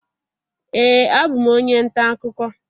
Ee, abụ m onye nta akụkọ